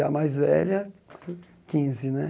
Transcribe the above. E a mais velha, quinze, né?